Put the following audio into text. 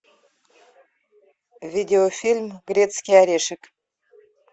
видеофильм грецкий орешек